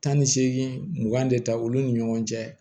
Tan ni seegin mugan de ta olu ni ɲɔgɔn cɛ